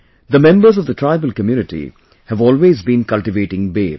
The members of the tribal community have always been cultivating Ber